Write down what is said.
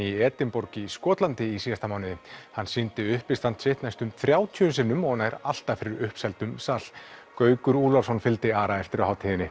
í Edinborg í Skotlandi í síðasta mánuði hann sýndi uppistand sitt næstum þrjátíu sinnum og nær alltaf fyrir sal Gaukur Úlfarsson fylgdi Ara eftir á hátíðinni